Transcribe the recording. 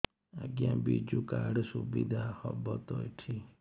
ଆଜ୍ଞା ବିଜୁ କାର୍ଡ ସୁବିଧା ହବ ତ ଏଠି